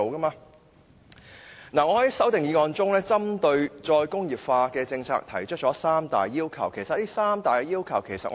我在修正案中，針對"再工業化"的政策提出了三大要求，包括低污染、低用地量及高增值。